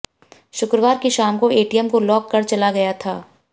शुक्रवार की शाम को वो एटीएम को लाॅक कर चला गया था